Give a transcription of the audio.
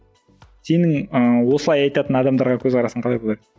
сенің ыыы осылай айтатын адамдарға көзқарасың қалай болады